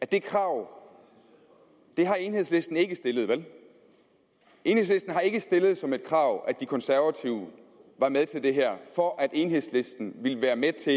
det krav har enhedslisten ikke stillet vel enhedslisten har ikke stillet som et krav at de konservative var med til det her for at enhedslisten ville være med til